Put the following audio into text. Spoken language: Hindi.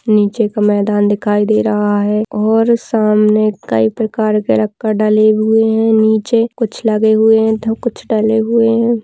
नीचे का मैदान दिखाई दे रहा है और सामने कई प्रकार के लक्कड़ डले हुए है नीचे कुछ लगे हुए है तो कुछ डले हुए है।